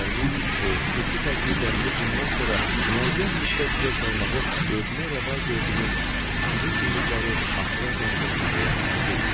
İşlərimin xüsusi təcmürdəliyi bundan sonra müəyyən müddət zövq almağı özümə rəva gördüyüm şirin ümidləri axıracan səsləməyə imkan vermir.